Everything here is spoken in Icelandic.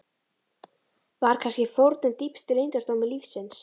Var kannski fórnin dýpsti leyndardómur lífsins?